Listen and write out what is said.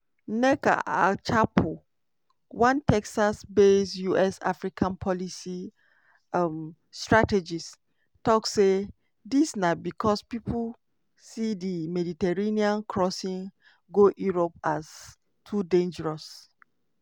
nneka achapu one texas-based us-africa policy um strategist tok say dis na becos pipo see di mediterranean crossing go europe as too dangerous.